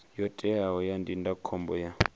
yo teaho ya ndindakhombo ya